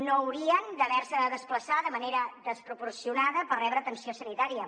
no haurien d’haver se de desplaçar de manera desproporcionada per rebre atenció sanitària